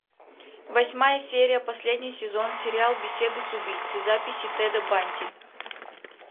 восьмая серия последний сезон сериал беседы с убийцей записи теда банди